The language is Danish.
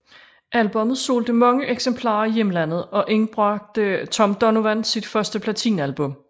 Albummet solgte mange eksemplarer i hjemlandet og indbragte Tom Donovan sit første platinalbum